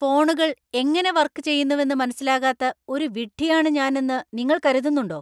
ഫോണുകൾ എങ്ങനെ വർക്ക് ചെയ്യുന്നെവെന്നു മനസ്സിലാകാത്ത ഒരു വിഡ്ഢിയാണ് ഞാൻ എന്ന് നിങ്ങൾ കരുതുന്നുണ്ടോ?